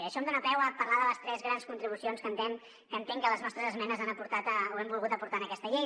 i això em dona peu a parlar de les tres grans contribucions que entenc que les nostres esmenes han aportat o hem volgut aportar en aquesta llei